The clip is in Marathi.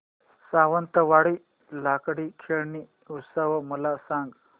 सावंतवाडी लाकडी खेळणी उत्सव मला सांग